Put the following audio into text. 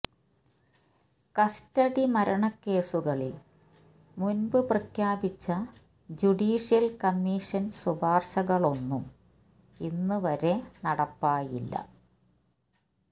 custody മരണക്കേസുകളിൽ മുൻപ് പ്രഖ്യാപിച്ച ജുഡിഷ്യൽ കമ്മീഷൻ ശുപാർശകളൊന്നും ഇന്ന് വരെ നടപ്പായില്ല